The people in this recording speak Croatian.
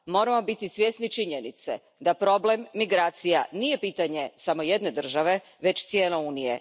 Moramo biti svjesni činjenice da problem migracija nije pitanje samo jedne države već cijele Unije.